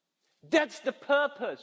That's the purpose!